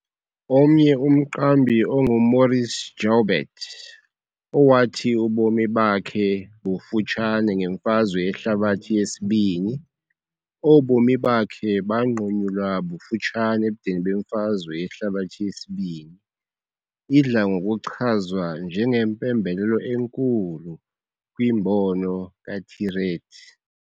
Omnye umqambi onguMaurice Jaubert, owathi ubomi bakhe bufutshane ngeMfazwe Yehlabathi II, obomi bakhe banqunyulwa bufutshane ebudeni beMfazwe Yehlabathi II, idla ngokuchazwa njengempembelelo enkulu kwimbono kaThiriet.